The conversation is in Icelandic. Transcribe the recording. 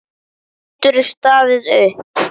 Geturðu staðið upp?